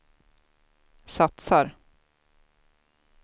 satsar